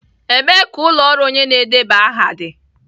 Ebee ka ụlọ ọrụ onye na-edeba aha dị?